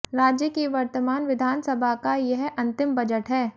राज्य की वर्तमान विधानसभा का यह अंतिम बजट है